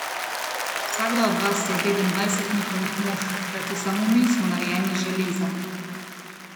Vsakdo od vas je vreden dvajset njihovih mož, kajti samo mi smo narejeni iz železa.